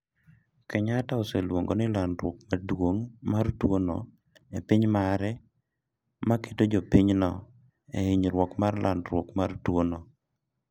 Kenyatta oseluongo ni landruok maduong mar tuo no e piny mare ma keto jopinyno e hinyruok mar landruok ma tuo no